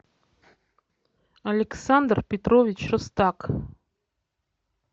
александр петрович рустак